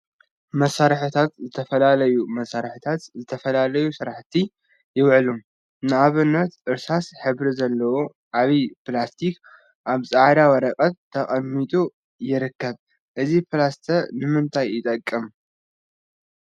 መሳርሒታት ዝተፈላለዩ መሳርሒታት ንዝተፈላለዩ ስራሕቲ ይውዕሉ፡፡ ንአብነት እርሳስ ሕብሪ ዘለዎ ዓብይ ፕላስቲክ አብ ፃዕዳ ወረቀት ተቀሚጡ ይርከብ፡፡ እዚ ፕላስተር ንምንታይ ይጠቅመና?